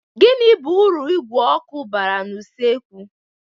Gini bu uru igwe oku bara na usekwu?